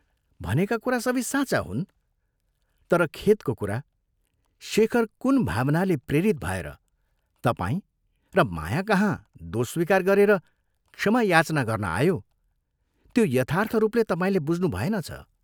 भनेका कुरा सबै साँचा हुन् तर खेदको कुरा, शेखर कुन भावनाले प्रेरित भएर तपाईं र मायाकहाँ दोष स्वीकार गरेर क्षमा याचना गर्न आयो त्यो यथार्थ रूपले तपाईंले बुझ्नुभएनछ।